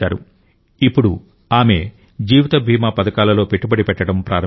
ఇప్పుడు ఆమె జీవిత బీమా పథకాలలో పెట్టుబడి పెట్టడం ప్రారంభించారు